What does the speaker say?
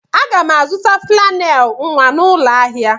Aga m azụta flannel nwa n'ụlọ ahịa.